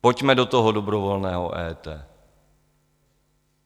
Pojďme do toho dobrovolného EET.